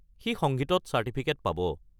সি সংগীতত চার্টিফিকেট পাব।